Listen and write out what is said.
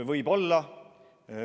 Võib-olla.